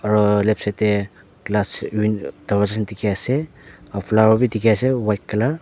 ro left side tae glass win darvaza dikhiase aro flower bi dikhi ase white colour .